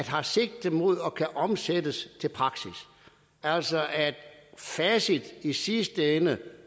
har sigte mod og kan omsættes til praksis altså at facit i sidste ende